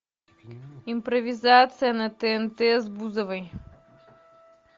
импровизация на тнт с бузовой